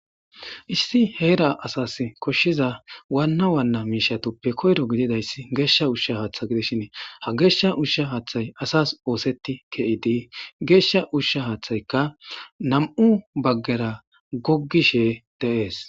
Issi heera asas koshshiza waanna waanna miishatoppe koyro gididayssi geeshsha ushsha haaththa gidishin ha geeshsha ushsha haaththay asas ooseti ke'idi geeshsha ushsha haaththayka nam'u baggera goggishe deees.